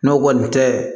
N'o kɔni tɛ